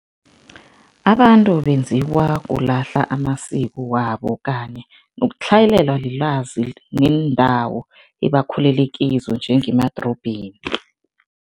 Abantu benziwa kulahla amasiko wabo kanye nokutlhayelelwa lilwazi neendawo ebakhulele kizo njengemadorobheni.